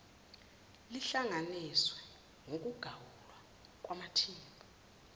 lihlanganise ukuqagulwa kwamathimba